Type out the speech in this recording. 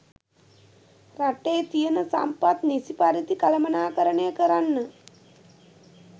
රටේ තියන සම්පත් නිසි පරිදි කළමණාකරණය කරන්න